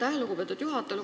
Aitäh, lugupeetud juhataja!